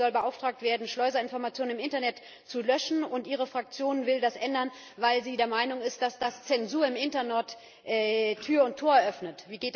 Europol soll beauftragt werden, Schleuserinformationen im Internet zu löschen, und Ihre Fraktion will das ändern, weil sie der Meinung ist, dass das Zensur im Internet Tür und Tor eröffnet.